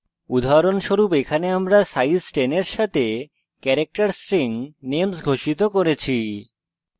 উদাহরণস্বরূপ: এখানে আমরা size 10 eg সাথে character string names ঘোষিত করেছি